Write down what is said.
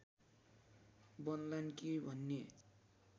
बन्लान् कि भन्ने